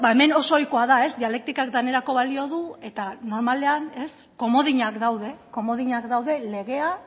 hemen oso ohikoa da dialektikak danerako balio du eta normalean komodinak daude legea